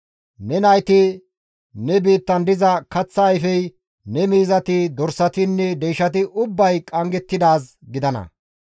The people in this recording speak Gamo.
Ne nayti, ne biittan diza kaththa ayfey, ne miizati, dorsatinne deyshati ubbay qanggettidaaz gidana.